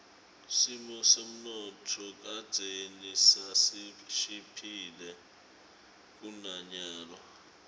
simo semnotfo kadzeni sasishiphile kunanyalo